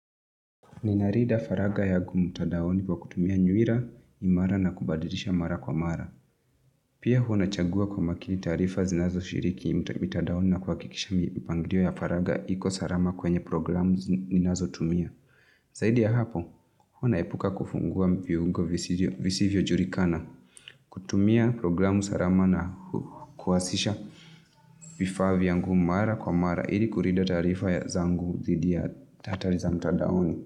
Ni narida faragha yangu mutadaoni wa kutumia nywira imara na kubadirisha mara kwa mara. Pia huwa na chagua kwa makini tarifa zinazo shiriki mitadaoni na kuhakikisha mipangilio ya faraga iko salama kwanye programu ninazotumia. Zaidi ya hapo, huwa naepuka kufungua viyungo visivyo jurikana. Kutumia programu salama na kuwasisha vifaa vyangu mara kwa mara. Ili kurida taarifa ya zangu dhidi ya hatari za mtadaoni.